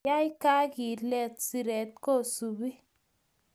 Yai kakilet, siret ko supi